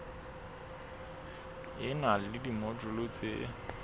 e na le dimojule tse